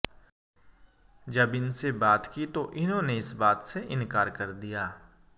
जब इनसे बात की तो इन्होंने इस बात से इनकार कर दिया